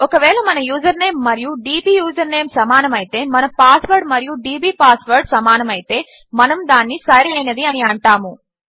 ఒకవేళ మన యూజర్నేమ్ మరియు డీబీ యూజర్నేమ్ సమానమైతే మన పాస్వర్డ్ మరియు డీబీ పాస్వర్డ్ సమానమైతే మనము దానిని సరైనది అని అంటాము